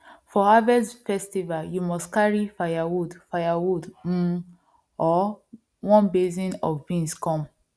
for harvest festival you must carry firewood firewood um or one basin of beans come